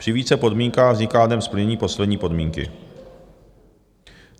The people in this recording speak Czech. Při více podmínkách vzniká dnem splnění poslední podmínky.